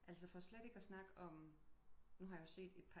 Altså for slet ikke at snakke om nu har jeg jo set et